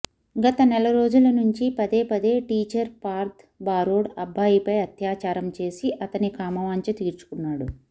గత నెల రోజుల నుంచి పదేపదే టీచర్ పార్థ్ బారోడ్ అబ్బాయిపై అత్యాచారం చేసి అతని కామవాంఛ తీర్చుకున్నాడు